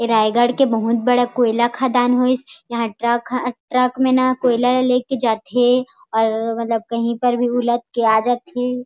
ए रायगढ़ के बहुत बड़े कोयला खदान होईसयहाँ ट्रक ट्रक में न कोयला लेके जाथे और मतलब कही पर भी उलद के आ जाथे।